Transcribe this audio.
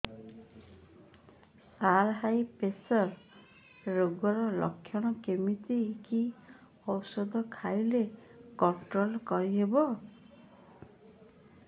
ସାର high pressure ରୋଗର ଲଖଣ କେମିତି କି ଓଷଧ ଖାଇଲେ କଂଟ୍ରୋଲ କରିହେବ